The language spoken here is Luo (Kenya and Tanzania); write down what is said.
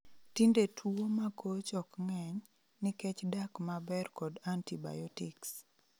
Tinde tuwo makoch ok ng'eny, nikech dak maber kod antibiotics